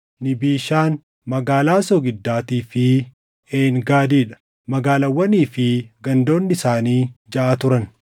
Niibishaan, Magaalaa Soogiddaatii fi Een Gaadii dha; magaalaawwanii fi gandoonni isaanii jaʼa turan.